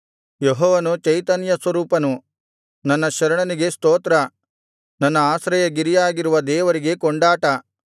ಯೆಹೋವನು ಚೈತನ್ಯಸ್ವರೂಪನು ನನ್ನ ಶರಣನಿಗೆ ಸ್ತೋತ್ರ ನನ್ನ ಆಶ್ರಯಗಿರಿಯಾಗಿರುವ ದೇವರಿಗೆ ಕೊಂಡಾಟ